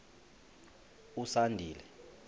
usandile